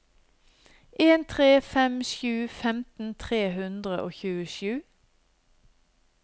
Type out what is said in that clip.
en tre fem sju femten tre hundre og tjuesju